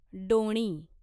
डोणी